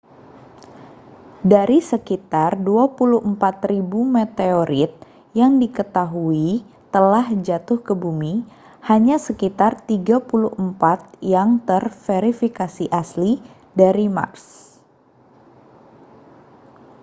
dari sekitar 24.000 meteorit yang diketahui telah jatuh ke bumi hanya sekitar 34 yang telah terverifikasi asli dari mars